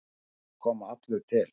Ég er að koma allur til.